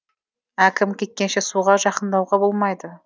әкім кеткенше суға жақындауға болмайды